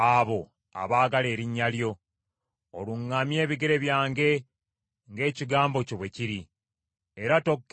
Oluŋŋamye ebigere byange ng’ekigambo kyo bwe kiri, era tokkiriza kibi kyonna kunfuga.